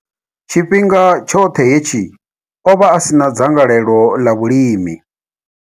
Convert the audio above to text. Tshifhinga tshoṱhe hetshi, o vha a si na dzangalelo ḽa vhulimi.